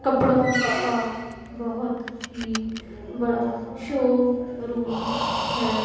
कपड़ों का बहुत ही बड़ा शोरूम है।